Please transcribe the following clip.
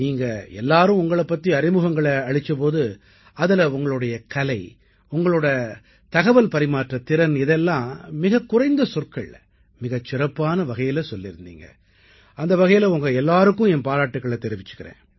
நீங்கள் அனைவரும் உங்களைப் பற்றிய அறிமுகங்களை அளித்த போது அதில் உங்களுடைய கலை உங்களுடைய தகவல் பரிமாற்றத்திறன் ஆகியவற்றை மிகக் குறைந்த சொற்களில் மிகச் சிறப்பான வகையிலே கூறியிருந்தீர்கள் அந்த வகையில் உங்கள் அனைவருக்கும் என் பாராட்டுக்களைத் தெரிவித்துக் கொள்கிறேன்